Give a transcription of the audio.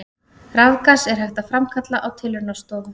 Rafgas er hægt að framkalla á tilraunastofu.